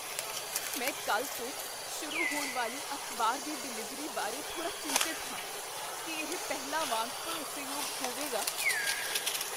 ਮੈਂ ਕੱਲ੍ਹ ਤੋਂ ਸ਼ੁਰੂ ਹੋਣ ਵਾਲੀ ਅਖ਼ਬਾਰ ਦੀ ਡਿਲਿਵਰੀ ਬਾਰੇ ਥੋੜਾ ਚਿੰਤਤ ਹਾਂ। ਕੀ ਇਹ ਪਹਿਲਾਂ ਵਾਂਗ ਭਰੋਸੇਯੋਗ ਹੋਵੇਗਾ?